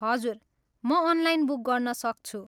हजुर, म online book गर्न सक्छु।